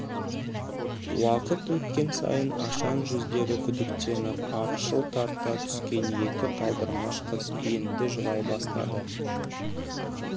уақыт өткен сайын ашаң жүздері күдіктеніп ақшыл тарта түскен екі талдырмаш қыз енді жылай бастады